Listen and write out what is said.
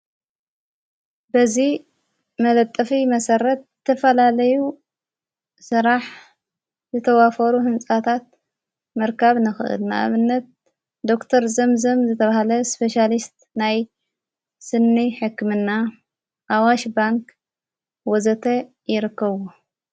በዙይ መለጠፊ መሠረት እተፈላለዩ ሠራሕ ዝተዋፈሩ ሕንፃታት ምርካብ ነኽእል ናኣብነት ዶክተር ዘምዘም ዝተብሃለ ስፔስያልስት ናይ ስኒ ሕክምና ኣዋሽ ባንክ ወዘተ የረከብዎ።